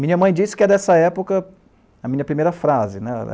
Minha mãe disse que é dessa época a minha primeira frase.